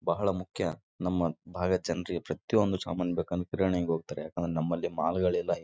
ಅಡುಗೆ ಕೆಲಸ ಮಾಡೋಕೆ ಎಲ್ಲ ಹೆಣ್ಣು ಮಕ್ಕಳಿಗೆ ಎಲ್ಲ ಸಿಗುತ್ತದೆ ಎಲ್ಲ ಚೆನ್ನಾಗಿದೆ.